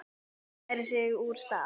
Hún færir sig úr stað.